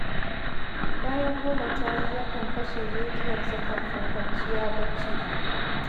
Bayan goma ta yi yakan kashe rediyonsa kafin kwanciya bacci.